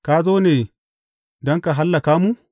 Ka zo ne don ka hallaka mu?